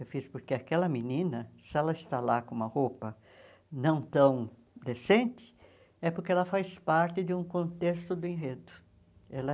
Eu fiz porque aquela menina, se ela está lá com uma roupa não tão decente, é porque ela faz parte de um contexto do enredo. Ela